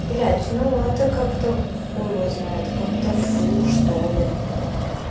блять ну это как-то хуй его знает как-то фу что ли